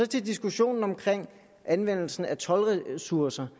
til diskussionen om anvendelsen af toldressourcer